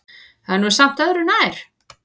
Það er nú samt öðru nær.